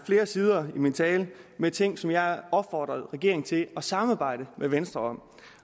flere sider i min tale med ting som jeg opfordrede regeringen til at samarbejde med venstre